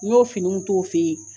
N y'o finiw t'o fɛ yen